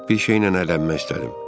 Bir şeylə əylənmək istədim.